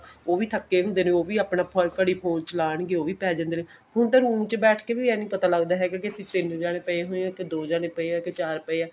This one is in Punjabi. ਉਹ ਵੀ ਥੱਕੇ ਹੁੰਦੇ ਨੇ ਉਹ ਵੀ ਆਪਣਾ ਘੜੀ phone ਚਲਾਨ ਗਏ ਉਹ ਵੀ ਆਪਣਾ ਪੈ ਜਾਣਗੇ ਹੁਣ ਤਾਂ room ਚ ਬੈਠ ਕੇ ਵੀ ਇਹ ਪਤਾ ਨਹੀਂ ਲਗਦਾ ਹੈਗਾ ਕਿ ਪਿੱਛੇ ਇਹਨੇ ਜਾਣੇ ਪਏ ਹੋਏ ਦੋ ਜਾਣੇ ਪਏ ਹੈ ਕੇ ਚਾਰ ਜਣੇ ਪਏ ਹੋਏ ਨੇ